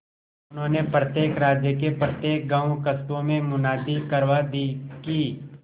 उन्होंने प्रत्येक राज्य के प्रत्येक गांवकस्बों में मुनादी करवा दी कि